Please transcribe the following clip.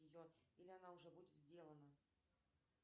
ее или она уже будет сделана